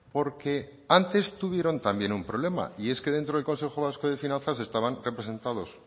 porque antes tuvieron también un problema y es que dentro del consejo vasco de finanzas estaban representados